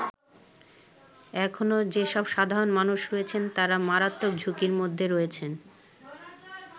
এখনো যেসব সাধারণ মানুষ রয়েছেন তারা মারাত্মক ঝুঁকির মধ্যে রয়েছেন।